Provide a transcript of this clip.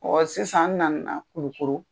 Ɔ sisan n nana Kulukoro.